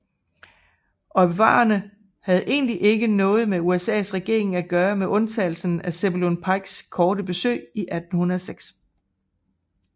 Ojibwaerne havde egentlig ikke haft noget med USAs regering at gøre med undtagelse af Zebulon Pikes korte besøg 1806